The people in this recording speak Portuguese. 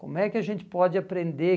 Como é que a gente pode aprender?